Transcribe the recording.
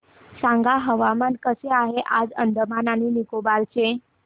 सांगा हवामान कसे आहे आज अंदमान आणि निकोबार चे